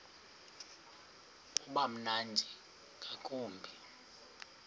uba mnandi ngakumbi